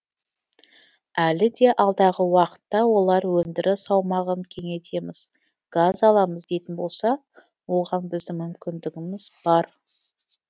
әлі де алдағы уақытта олар өндіріс аумағын кеңейтеміз газ аламыз дейтін болса оған біздің мүмкіндігіміз бар